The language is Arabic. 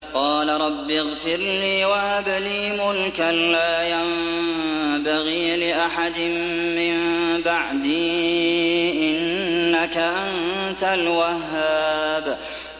قَالَ رَبِّ اغْفِرْ لِي وَهَبْ لِي مُلْكًا لَّا يَنبَغِي لِأَحَدٍ مِّن بَعْدِي ۖ إِنَّكَ أَنتَ الْوَهَّابُ